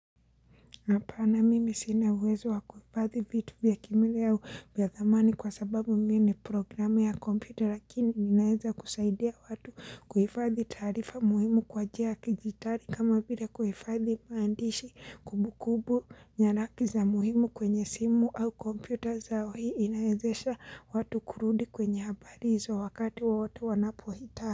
Hapana mimi sina uwezo wakuhifadhi vitu vya kimele ya dhamani kwa sababu mimi ni programe ya komputer lakini ninaeza kusaidia watu kuhifadhi taarifa muhimu kwa njia ya kijidijitali kama vile kuhifadhi maandishi kumbukumbu nyaraki za muhimu kwenye simu au komputer zao hii inaezesha watu kurudi kwenye habari hizo wakati wa watu wanapohita.